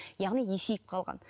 яғни есейіп қалған